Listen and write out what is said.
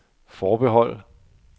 forbehold